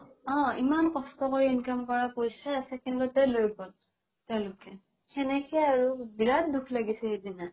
অ ইমান কষ্ট কৰি income কৰা পইচা second তে লৈ গ'ল তেওলোকে সেনেকে আৰু বিৰাত দুখ লাগিছে সিদিনা